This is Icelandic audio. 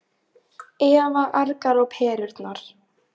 Eva argar á perurnar.